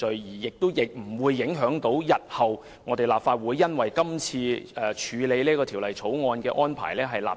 這項議案亦不會訂立先例，影響日後立法會處理《條例草案》的安排。